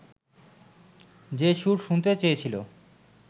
যে-সুর শুনতে চেয়েছিলো